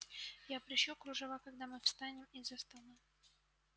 я пришью кружева когда мы встанем из-за стола